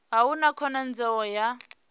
a hu na khonadzeo ya